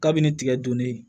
Kabini tigɛ don ne ye